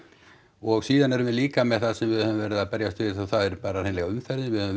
og síðan erum við líka með það sem við höfum verið að berjast við og það er bara hreinlega umferðin við höfum